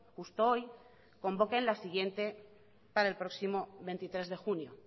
justo hoy convoque la siguiente para el próximo veintitrés de junio